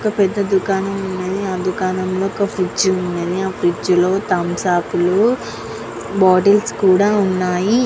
ఇక్కడ పెద్ద దుకాణం ఉన్నది అందులో ఒక కుర్చీ ఉన్నది ఆ కుర్చీ లో తంసుప్ లు బాటిల్స్ కూడా ఉన్నాయి .